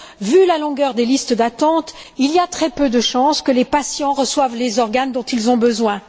vu la longueur des listes d'attente, il y a très peu de chances que les patients reçoivent les organes dont ils ont besoin.